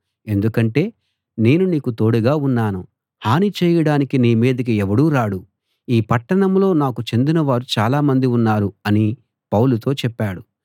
ఎందుకంటే నేను నీకు తోడుగా ఉన్నాను హాని చేయడానికి నీ మీదికి ఎవడూ రాడు ఈ పట్టణంలో నాకు చెందినవారు చాలామంది ఉన్నారు అని పౌలుతో చెప్పాడు